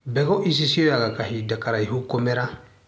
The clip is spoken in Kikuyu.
Mbegũ ici cioyaga kahinda karaihu kumĩra.